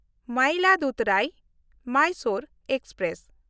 ᱢᱟᱭᱤᱞᱟᱫᱩᱩᱛᱷᱩᱨᱟᱭ–ᱢᱟᱭᱥᱳᱨ express